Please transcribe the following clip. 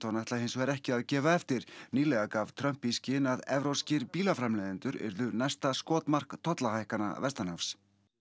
ætla hins vegar ekki að gefa eftir nýlega gaf Trump í skyn að evrópskir bílaframleiðendur yrðu næsta skotmark tollahækkana vestanhafs